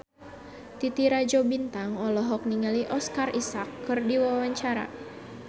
Titi Rajo Bintang olohok ningali Oscar Isaac keur diwawancara